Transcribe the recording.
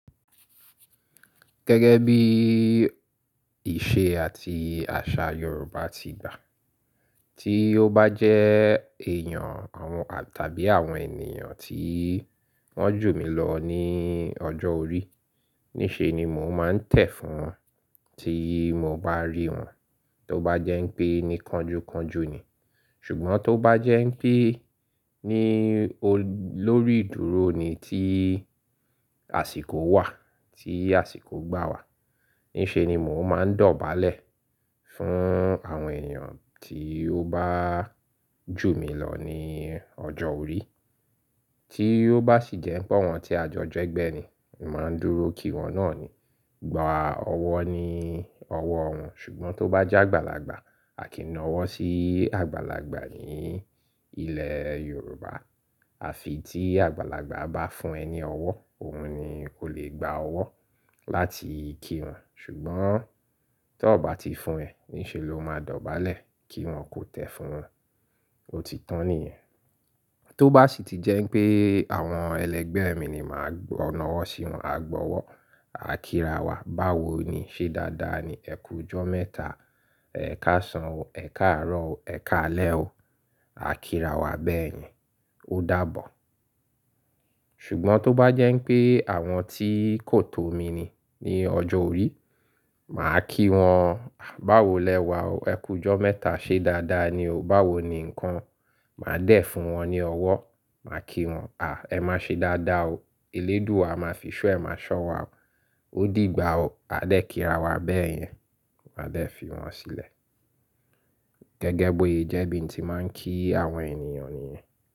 Gẹ́gẹ́ bí ìṣe àti àṣà Yorùbá ti gbà, tí ó bá jẹ́ èèyàn àwọn tàbí àwọn ènìyàn tí wọ́n jù mí lọ ní ọjọ́ orí, ní ṣe ni mò ń máa tẹ̀ fún wọn tí mo bá rí wọn. Tó bá jẹ́ pé ni kanju kanju ni, ṣùgbọ́n tó bá jẹ́ pé ní lórí ìdúró ni tí àsìkò wà, tí àsìkò gbà wà, ní ṣe ni mò ń máa dọ̀bálẹ̀ fún àwọn ènìyàn tí ó bá jù mí lọ ní ọjọ́ orí. Tí ó bá sì jẹ́ pé wọ́n ti à jọjọ ẹgbẹ́ ni, màá dúró kí wọ́n náà ni, gbà ọwọ́ ní ọwọ́ wọn. Ṣùgbọ́n tó bá jẹ́ àgbàlagbà, a kì í na ọwọ́ sí àgbàlagbà ní ilẹ̀ Yorùbá. À fi tí àgbàlagbà bá fún ẹ ní ọwọ́, òun ni o lè gba ọwọ́ láti kí wọn. Ṣùgbọ́n tó bá ti fún ẹ, ní ṣe lo máa dọ̀bálẹ̀ kí wọn kó tẹ fún wọn. Ó ti tán nìyẹn. Tó bá sì ti jẹ́ pé àwọn ẹlẹgbẹ́ mi ni, màá na ọwọ́ sí wọn, à gbọwọ́, à kírawà, báwo ni ṣé dáadáa ni? Ẹ kù jọ mẹ́ta, ẹ ká san o, ẹ ká rọ̀ o, ẹ ká lẹ o. À kírawà bẹ́ẹ̀ yẹn. Ó dàbọ̀. Ṣùgbọ́n tó bá jẹ́ pé àwọn tí kò tó mi ni ní ọjọ́ orí, màá kí wọn, báwo lẹ wà o? Ẹ kù jọ mẹ́ta ṣé dáadáa ni o? Báwo ni nǹkan? Màá dẹ̀ fún wọn ní ọwọ́, màá kí wọn, à ẹ má ṣe dáadáa o. Elédùwa à máa fi ṣo ẹ, máa ṣọ́ wa o. Ó dìgbà o. A dẹ́ kírawà bẹ́ẹ̀ yẹn. Màá dẹ̀ fi wọn sílẹ̀. Gẹ́gẹ́ boye jẹ́ bí n ti máa ń kí àwọn ènìyàn nìyẹn.